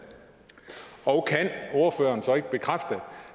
og kan ordføreren så ikke bekræfte